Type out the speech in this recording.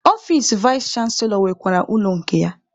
Ọfici vais chanselọ nwekwara ụlọ nke ya.